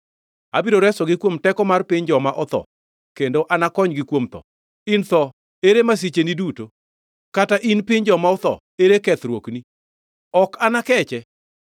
“Abiro resogi kuom teko mar piny joma otho kendo anakonygi kuom tho. In tho, ere masicheni duto, kata in piny joma otho, ere kethruokni? “Ok anakeche,